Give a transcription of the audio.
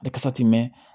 mɛn